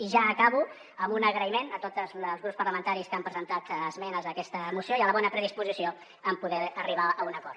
i ja acabo amb un agraïment a tots els grups parlamentaris que han presentat esmenes a aquesta moció i a la bona predisposició a poder arribar a un acord